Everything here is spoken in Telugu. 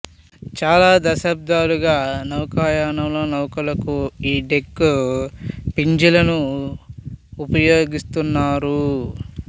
చాల శతాబ్దాలుగ నౌకాయానంలో నౌకలకు ఈ డెక్ ప్రిజంలను వుపయోగిస్తున్నారు